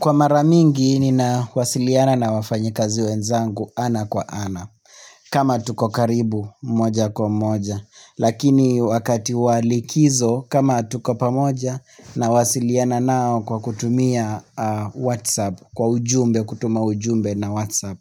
Kwa maramingi ni ninawasiliana na wafanyikazi wenzangu ana kwa ana kama tuko karibu moja kwa moja Lakini wakati walikizo kama tuko pamoja na wasiliana nao kwa kutumia Whatsapp Kwa ujumbe kutuma ujumbe na Whatsapp